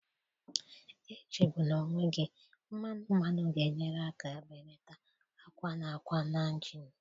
Echegbula onwe gị, mmanu mmanu ga-enyere aka belata akwa na akwa na injin.